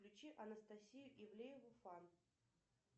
включи анастасию ивлееву фан